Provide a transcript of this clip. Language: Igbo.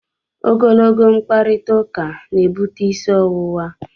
Ogologo mkparịtaụka na-ebute isi ọwụwa.